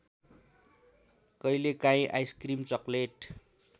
कहिलेकाहीँ ice cream chocolate